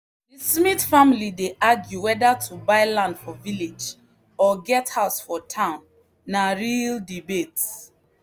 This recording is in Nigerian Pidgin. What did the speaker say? the smith family dey argue whether to buy land for village or get house for town na real debate.